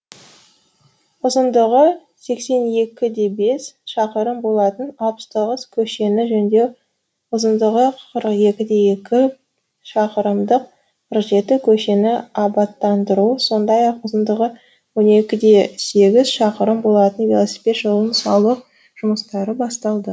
ұзындығы сексен екі де бес шақырым болатын алпыс тоғыз көшені жөндеу ұзындығы қырық екі де екі шақырымдық қырық жеті көшені абаттандыру сондай ақ ұзындығы он екі де сегіз шақырым болатын велосипед жолын салу жұмыстары басталды